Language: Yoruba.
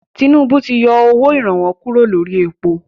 Tinúbú ti yọ owó ìrànwọ́ kúrò lórí èpo.